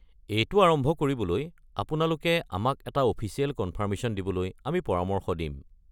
এইটো আৰম্ভ কৰিবলৈ আপোনালোকে আমাক এটা অফিচিয়েল কনফাৰ্মেশ্যন দিবলৈ আমি পৰামৰ্শ দিম।